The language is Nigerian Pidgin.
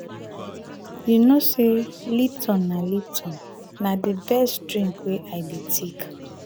you know sey lipton na lipton na di best drink wey i dey take.